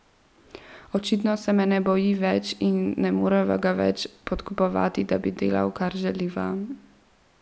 Očitno se me ne boji več in ne moreva ga več samo podkupovati, da bi delal, kar želiva.